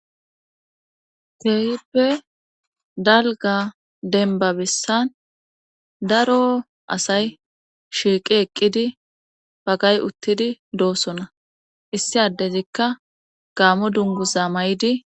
Keehippe dalga denba bissan daro asay shiiqi eqqidi bagay uttidi doosona issi addezikka gaamo dunguza may7idi